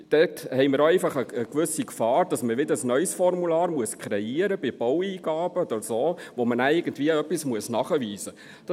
– Dort haben wir einfach eine gewisse Gefahr, dass man ein neues Formular kreieren muss bei Baueingaben oder so, bei dem man nachher irgendetwas nachweisen muss.